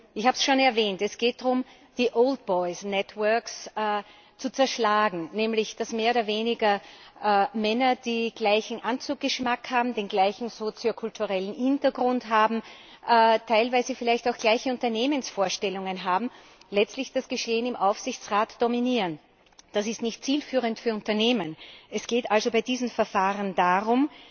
Ich habe es schon erwähnt Es geht darum, die Old Boys´ Networks zu zerschlagen, nämlich dass mehr oder weniger Männer, die den gleichen Anzug Geschmack haben, den gleichen soziokulturellen Hintergrund haben, teilweise auch gleiche Unternehmensvorstellungen haben, letztlich das Geschehen im Aufsichtsrat dominieren. Das ist nicht zielführend für Unternehmen. Es geht also bei diesen Verfahren darum,